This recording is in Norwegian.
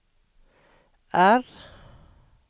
R